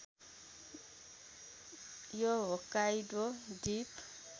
यो होक्काइडो द्वीप